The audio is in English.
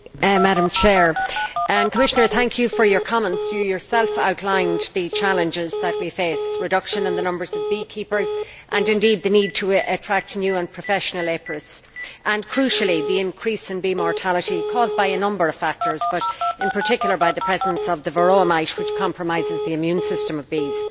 Madam President, Commissioner thank you for your comments. You yourself outlined the challenges that we face a reduction in the numbers of beekeepers and the need to attract new and professional apiarists, and crucially the increase in bee mortality caused by a number of factors but, in particular, by the presence of the Varroa mite, which compromises the immune system of bees.